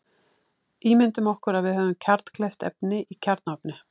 Ímyndum okkur að við höfum kjarnkleyft efni í kjarnaofni.